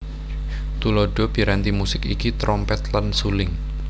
Tuladha piranti musik iki trompet lan suling